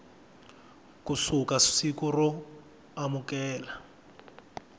ku suka siku ro amukela